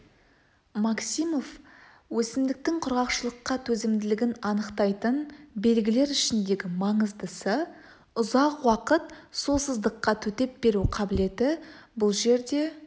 максимов өсімдіктің құрғақшылыққа төзімділігін анықтайтын белгілер ішіндегі маңыздысы ұзақ уақыт сусыздыққа төтеп беру қабілеті бұл жерде